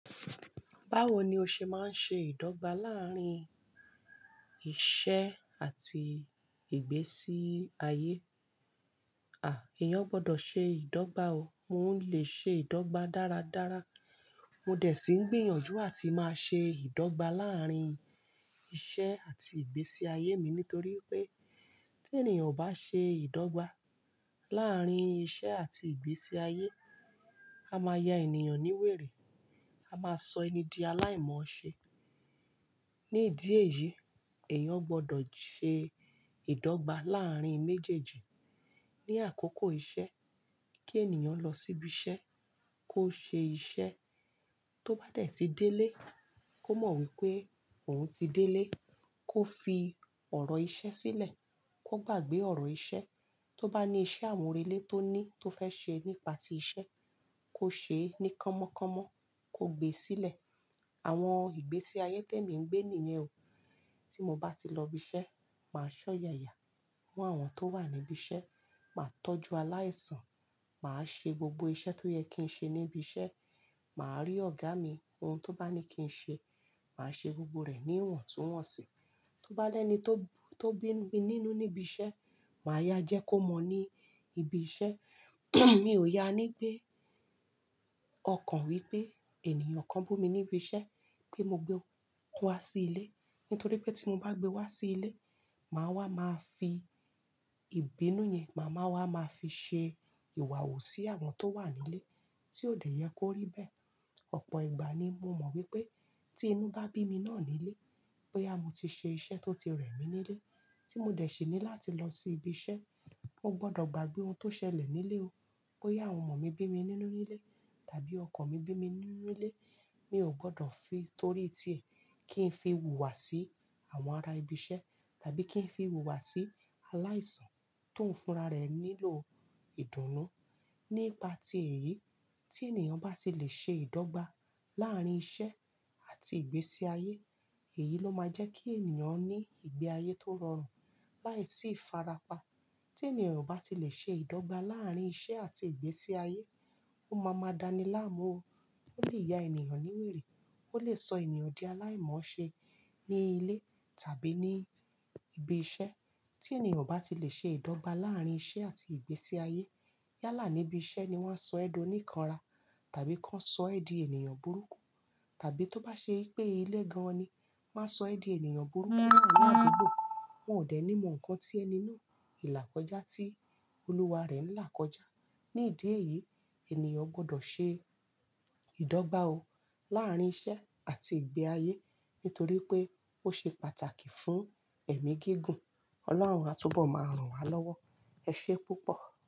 Báwo ni o ṣe máa ń ṣe ìdọ́gba láàárín iṣẹ́ àti ìgbésí ayé? À, èèyàn gbọdọ̀ ṣe ìdọ́gba o. Mo n le ṣe ìdọ́gba dáradára. Mo dẹ̀ sí ní gbìyànjú àti máa ṣe ìdọ́gba láàárín iṣẹ́ àti ìgbésí ayé mi nítorí pé tí ènìyàn bá ṣe ìdọ́gba láàárín iṣẹ́ àti ìgbésí ayé, a máa ya ènìyàn ní wèrè, a máa sọ ẹni di aláìmọ̀ọ́ ṣe. Ní ìdí èyí, èèyàn gbọdọ̀ ṣe ìdọ́gba láàárín méjèèjì. Ni àkókò iṣẹ́, kí ènìyàn lọ síbi iṣẹ́, kó ṣe iṣẹ́. Tó bá dẹ̀ tíi délé, kó mọ̀ wípé òun ti délé, kó fi ọ̀rọ̀ iṣẹ́ sílẹ̀, kó gbàgbé ọ̀rọ̀ iṣẹ́. Tó bá ní iṣẹ́ àmúrelé tó ní, tó fẹ́ ṣe nípa ti iṣẹ́, kó ṣe é ní kámọ́kámọ́, kó gbe sílẹ̀. Àwọn ìgbésí ayé tèmi ń gbé ni yen o. Tí mo bá ti lọ ibi iṣẹ́, màá ṣọ́yàya mọ́ àwọn tó wà níbi iṣẹ́, màá tọ́jú aláìsàn, màá ṣe gbogbo iṣẹ́ tó yẹ kí n ṣe níbi iṣẹ́, màá rí ọ̀gá mi, ohun tó bá ní kí n ṣe, màá ṣe gbogbo rẹ̀ ní ìwọ̀ntúnwọ̀nsì. Tó bá lẹ́ni tó, tó bí mi nínú níbi iṣẹ́, màá yá jẹ kó mọ̀ ọ ní ibi iṣẹ́. Mi ò yá ní gbé ọkàn wípé ènìyàn kan bú mi níbi iṣẹ́ pé mo gbé wá sí ilé. Nítorí pé tí mo bá gbé wá sí ilé, màá wá, màá fi ìbínú yẹn, màá wá, màá fi ṣe ìwà wù sí àwọn tó wà nílé tí ó dẹ̀ yẹ kó rí bẹ́ẹ̀. Ọ̀pọ̀ ìgbà ni mo mọ̀ wípé tí inú bá bí mi náà nílé, pé áà mu ti ṣe iṣẹ́ tó ti rẹ̀ mí nílé, tí mo dẹ̀ sí ní láti lọ sí ibi iṣẹ́, mo gbọdọ̀ gbàgbé ohun tó ṣẹlẹ̀ nílé o. Bóyá àwọn ọmọ mi bí mi nínú nílé, tàbí ọkọ mi bí mi nínú nílé, mi ò gbọdọ̀ fi tórí ti ẹ̀, kí n fi wùwà sí àwọn ará ibi iṣẹ́ tàbí kí n fi wùwà sí aláìsàn tó ń fúnra rẹ̀ nílò ìdùnnú. Nípa ti èyí, tí ènìyàn bá ti lè ṣe ìdọ́gba láàárín iṣẹ́ àti ìgbésí ayé, èyí ló máa jẹ́ kí ènìyàn ní ìgbé ayé tó rọrùn láìsí ìfarapa. Tí ènìyàn ò bá ti lè ṣe ìdọ́gba láàárín iṣẹ́ àti ìgbésí ayé, ó máa máa dani láàmú o, ó lè ya ènìyàn ní wèrè, ó lè sọ ènìyàn di aláìmọ̀ọ́ ṣe ní ilé tàbí ní ibi iṣẹ́. Tí ènìyàn ò bá ti lè ṣe ìdọ́gba láàárín iṣẹ́ àti ìgbésí ayé, yálà níbi iṣẹ́ ni wọ́n á sọ ẹ dó ní kanra tàbí kan sọ ẹ di ènìyàn burúkú. Tàbí tó bá ṣe pé ilé gan-an ni, máa sọ ẹ di ènìyàn burúkú laari adugbo wọ́n ò dẹ̀ ní mọ nǹkan tí ẹni náà ìlà kọjá tí olúwa rẹ̀ ń là kọjá. Ní ìdí èyí, ènìyàn gbọdọ̀ ṣe ìdọ́gba o láàárín iṣẹ́ àti ìgbé ayé nítorí pé ó ṣe pàtàkì fún ẹ̀mí gígùn. Ọlọ́run á túbọ̀ máa rùn wá lọ́wọ́. Ẹ ṣe púpọ̀.